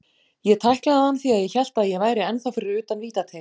Ég tæklaði hann því að ég hélt að ég væri ennþá fyrir utan vítateig.